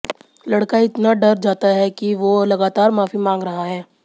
लड़का इतना डर जाता है कि वो लगातार माफी मांग रहा है